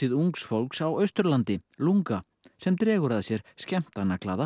ungs fólk á Austurlandi LungA sem dregur að sér